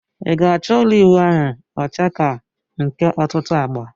I ga acho ulo iwu ahu ocha ka nke otutu agba?